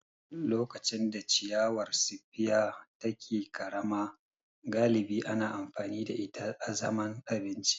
Lokacin da ciyawar spear take ƙarama, galibi ana amfani da ita azaman abinci.